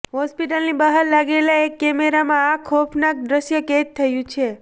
હોસ્પિટલની બહાર લાગેલા એક કેમેરામાં આ ખોફનાક દ્રશ્ય કેદ થયું છે